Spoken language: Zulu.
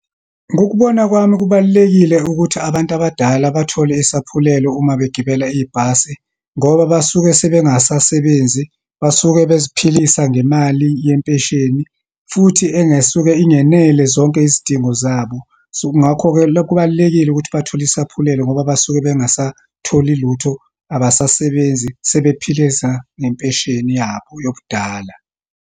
Ngokubona kwami, kubalulekile ukuthi abantu abadala bathole isaphulelo uma begibela ibhasi, ngoba basuke sebengasasebenzi, basuke beziphilise ngemali yempesheni, futhi engesuke ingenele zonke izidingo zabo. So, kungakho-ke lokhu kubalulekile ukuthi bathole isaphulelo ngoba basuke bengasatholi lutho, abasasebenzi, sebephileza ngempesheni yabo yobudala.